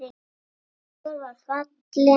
Sjór var fallinn hátt.